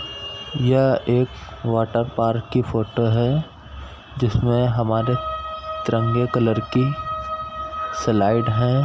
यह एक water park की फोटो है जिसमें हमारे तिरंगे कलर की स्लाइड है।